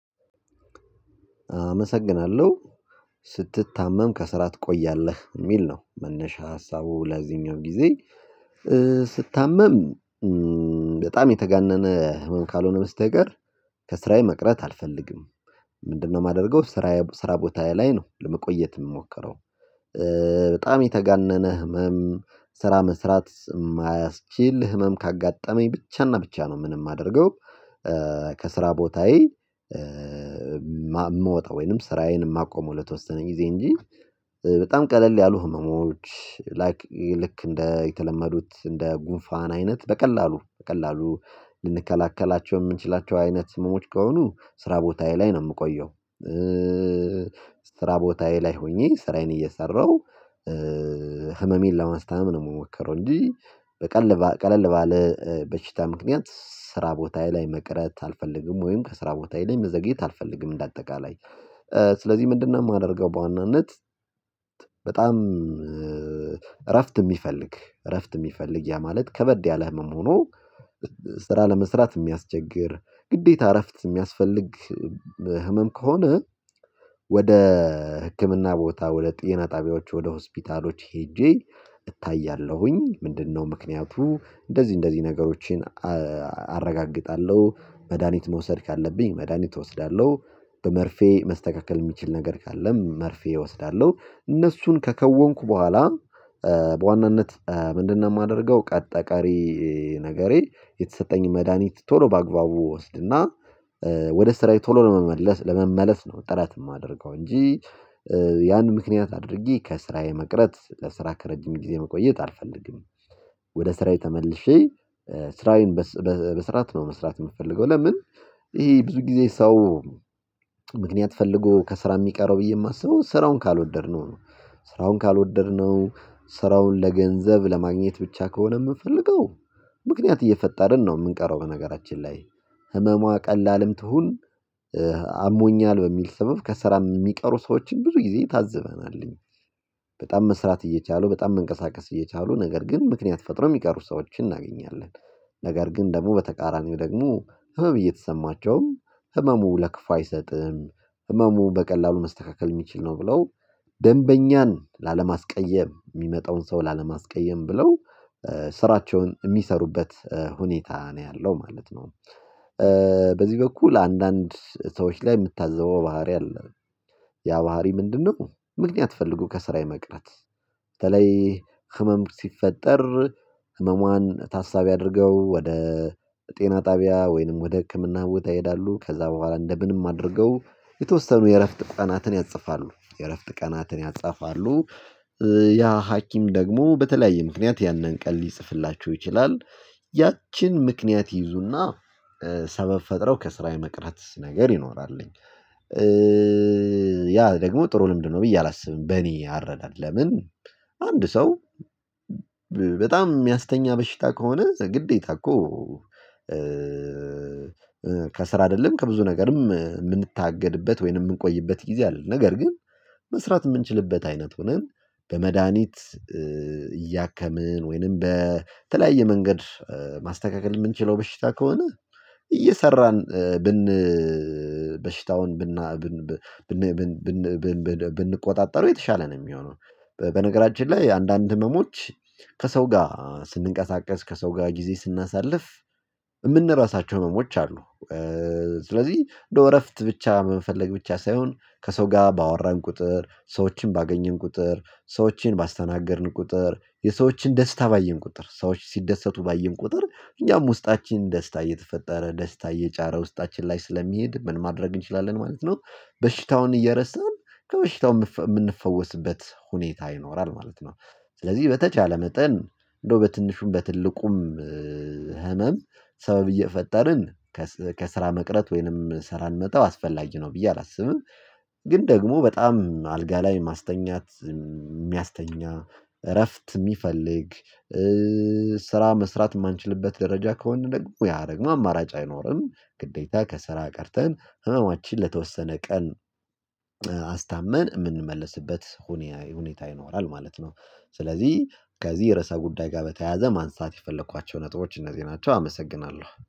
አመሰግናለሁ ስትታመም ከስራ ትቆያለህ የሚል ነው መነሻ ሀሳቡ ለዚኛው ጊዜ። ስታመም በጣም የተጋነነ ህመም ካልሆነ በስተቀር ከስራዬ መቅረት አልፈልግም። ምንድነው? የማደርገው ስራ ስራ ቦታዬ ላይ ነው ለመቆየት የምሞከረው። በጣም የተጋነነ ህመም ስራ መስራት የማያስችል ህመም ካጋጠመኝ ብቻና ብቻ ነው ምንም ማደርገው። ከስራ ቦታዬ የምወጣው ወይንም ስራዬን የማቆመው ለተወሰነ ጊዜ እንጂ። በጣም ቀለል ያሉ ህመሞች ላይክ ልክ እንደ የተለመዱት እንደ ጉንፋን አይነት በቀላሉ በቀላሉ ልንከላከላቸው የምንችላቸው አይነት ህመሞች ከሆኑ ስራ ቦታዬ ላይ ነው የምቆየው። ስራ ቦታዬ ላይ ሆኜ ስራዬን እየሰራሁ ህመሜን ለማስታም ነው የምሞከረው እንጂ። ቀለል ባለ በሽታ ምክንያት ስራ ቦታዬ ላይ መቅረት አልፈልግም ወይም ከስራ ቦታዬ ላይ መዘግየት አልፈልግም። እንደ አጠቃላይ። ስለዚህ ምንድነው? የማደርገው በዋናነት። በጣም እረፍት የሚፈልግ እረፍት የሚፈልግ ያ ማለት ከበድ ያለ ህመም ሆኖ ስራ ለመስራት የሚያስቸግር ግዴታ እረፍት የሚያስፈልግ ህመም ከሆነ። ወደ ህክምና ቦታ ወደ ጤና ጣቢያዎች ወደ ሆስፒታሎች ሄጄ እታያለሁኝ። ምንድነው? ምክንያቱ እንደዚህ እንደዚህ ነገሮችን አረጋግጣለሁ። መድሃኒት መውሰድ ካለብኝ መድሃኒት እወስዳለሁ በመርፌ መስተካከል የሚችል ነገር ካለም መርፌ እወስዳለሁ እነሱን ከከወንኩ በኋላ። ምንድነው? የማደርገው አጠቃላይ ነገሬ የተሰጠኝ መድሃኒት ቶሎ በአግባቡ ወስድና ወደ ስራዬ ቶሎ ለመመለስ ለመመለስ ነው ጥረት የማደርገው እንጂ። ያን ምክንያት አድርጌ ከስራዬ መቅረት ለስራ ከረጅም ጊዜ መቆየት አልፈልግም። ወደ ስራዬ ተመልሼ ስራዬን በስርዓት ነው መስራት የምፈልገው። ለምን? ይሄ ብዙ ጊዜ ሰው ፈልጎ ከስራ የሚቀረው ብዬ የማስበው ስራውን ካልወደድነው ነው። ስራውን ካልወደድነው ስራውን ለገንዘብ ለማግኘት ብቻ ከሆነ የምንፈልገው ምክንያት እየፈጠርን ነው የምንቀረው። በነገራችን ላይ ህመሟ ቀላልም ትሁን አሞኛል በሚል ስብብ ከስራም የሚቀሩ ሰዎችን ብዙ ጊዜ ታዝበናል እኛ። በጣም መስራት እየቻሉ በጣም መንቀሳቀስ እየቻሉ ነገር ግን ምክንያት ፈጥረው የሚቀሩ ሰዎችን እናገኛለን። ነገር ግን ደግሞ በተቃራኒው ደግሞ ህመም እየተሰማቸውም ህመሙ ለክፋ አይሰጥም። ህመሙ በቀላሉ መስተካከል የሚችል ነው ብለው ደንበኛን ላለማስቀየም የሚመጣውን ሰው ላለማስቀየም ብለው ስራቸውን የሚሰሩበት ሁኔታ ነው ያለው ማለት ነው። በዚህ በኩል አንዳንድ ሰዎች ላይ የምታዘበው ባህሪ አለ። ያ ባህሪ ምንድነው? ምክንያት ፈልጎ ከስራ የመቅረት። በተለይ ህመም ሲፈጠር ህመሟን ታሳቢ አድርገው ወደ ጤና ጣቢያ ወይንም ወደ ህክምና ቦታ ይሄዳሉ ከዛ በኋላ እንደ ምንም አድርገው የተወሰኑ የእረፍት ቀናትን ያጽፋሉ የእረፍት ቀናትን ያጽፋሉ። ያ ሀኪም ደግሞ በተለያየ ምክንያት ያንን ቀን ሊጽፍላችሁ ይችላል። ያችን ምክንያት ይይዙና ሰበብ ፈጥረው ከስራዬ መቅረት ነገር ይኖራል። ያ ደግሞ ጥሩ ልምድ ነው ብዬ አላስብም። በእኔ አረዳድ ለምን? አንድ ሰው በጣም የሚያስተኛ በሽታ ከሆነ ግዴታ እኮ ከስራ አይደለም ከብዙ ነገርም የምንታገድበት ወይንም የምንቆይበት ጊዜ አለ። ነገር ግን። መስራት የምንችልበት አይነት ሆነን በመድሃኒት እያከምን ወይንም በተለያየ መንገድ ማስተካከል የምንችለው በሽታ ከሆነ እየሰራን ብን በሽታውን ብንቆጣጠሩ የተሻለ ነው የሚሆነው። በነገራችን ላይ አንዳንድ ህመሞች ከሰው ጋር ስንንቀሳቀስ ከሰው ጋር ጊዜ ስናሳልፍ የምንረሳቸው ህመሞች አሉ። ስለዚህ እንደው እረፍት ብቻ በመፈለግ ብቻ ሳይሆን ከሰው ጋር ባወራን ቁጥር ሰዎችን ባገኘን ቁጥር ሰዎችን ባስተናገድን ቁጥር የሰዎችን ደስታ ባየን ቁጥር ሰዎች ሲደሰቱ ባየን ቁጥር እኛም ውስጣችን ደስታ እየተፈጠረ ደስታ እየጫረ ውስጣችን ላይ ስለሚሄድ ምን ማድረግ እንችላለን ማለት ነው። በሽታውን እየረሳን ከበሽታው የምንፈውስበት ሁኔታ ይኖራል ማለት ነው። ስለዚህ በተቻለ መጠን እንደው በትንሹም በትልቁም ሰበብ እየፈጠርን ከስራ መቅረት ወይንም ስራ መተው አስፈላጊ ነው ብዬ አላስብም። ግን ደግሞ በጣም አልጋ ላይ ማስተኛት የሚያስተኛ እረፍት የሚፈልግ ስራ መስራት የማንችልበት ደረጃ ከሆነ ደግሞ ያደግሞ አማራጭ አይኖርም ግዴታ ከስራ ቀርተን ህመማችን ለተወሰነ ቀን አስታመን የምንመለስበት ሁኔታ ሁኔታ ይኖራል ማለት ነው። ስለዚህ ከዚህ የርዕሰ ጉዳይ ጋር በተያያዘ ማንሳት የፈለኳቸው ነጥቦች እነዚህ ናቸው። አመሰግናለሁ